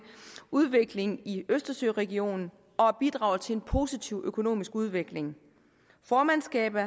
udvikling i østersøregionen og at bidrage til en positiv økonomisk udvikling formandskabet